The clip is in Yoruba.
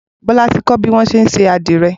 Bola ti kọ̀ biwọn ṣé n ṣé adirẹ